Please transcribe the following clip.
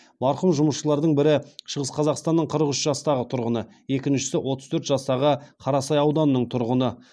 марқұм жұмысшылардың бірі шығыс қазақстанның қырық үш жастағы тұрғыны екіншісі отыз төрт жастағы қарасай ауданының тұрғыны